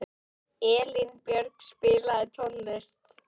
Elínbjörg, spilaðu tónlist.